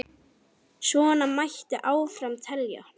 Svona mætti áfram telja.